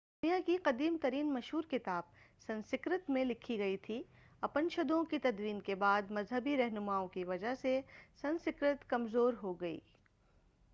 دنیا کی قدیم ترین مشہور کتاب سنسکرت میں لکھی گئی تھی اپنشدوں کی تدوین کے بعد مذہبی رہنماوں کی وجہ سے سنسکرت کمزور ہو گئی